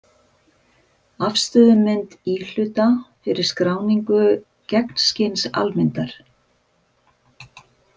Afstöðumynd íhluta fyrir skráningu gegnskins-almyndar.